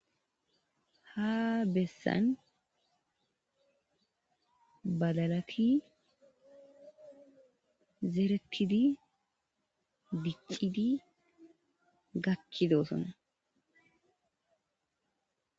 Ha bessan badlati zerettidi diccidi gakkidosona.